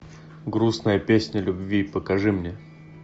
грустная песня любви покажи мне